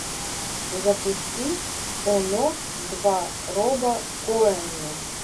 запусти оно два роба коэна